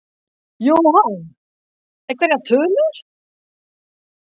Jóhann: Einhverjar tölur?